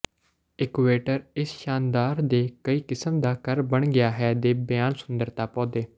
ਇਕੂਏਟਰ ਇਸ ਸ਼ਾਨਦਾਰ ਦੇ ਕਈ ਕਿਸਮ ਦਾ ਘਰ ਬਣ ਗਿਆ ਹੈ ਦੇ ਬਿਆਨ ਸੁੰਦਰਤਾ ਪੌਦੇ